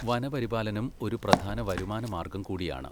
വനപരിപാലനം ഒരു പ്രധാന വരുമാന മാർഗ്ഗം കൂടിയാണ്.